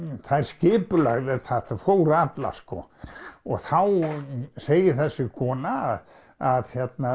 þær skipulögðu þetta fóru allar og þá segir þessi kona að